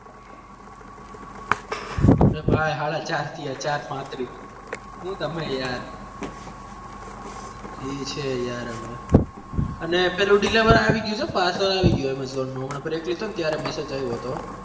હા ભાઈ સાડા ચાર થયા ચાર પાંત્રીસ હુ તમે યાર જે છે યાર હવે અને પેલું deliver આવી ગયું છે parcel આવી ગયું amazon નું હમણાં break લીધો ત્યારે message આયવો તો